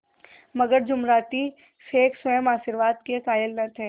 मगर जुमराती शेख स्वयं आशीर्वाद के कायल न थे